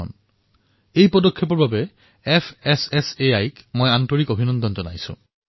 এই সন্দৰ্ভত উক্ত পদক্ষেপৰ বাবে মই fssaই ক অভিনন্দন জনাইছোঁ